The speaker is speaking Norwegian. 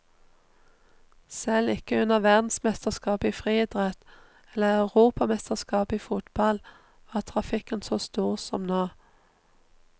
Selv ikke under verdensmesterskapet i friidrett eller europamesterskapet i fotball var trafikken så stor som nå.